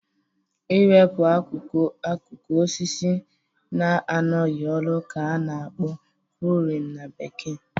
I wepụ akụkụ osisi na-anọghị ọrụ ka a na-akpọ "pruning" na bekee